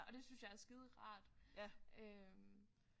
Og det synes jeg er skiderart øh